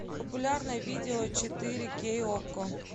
популярное видео четыре кей окко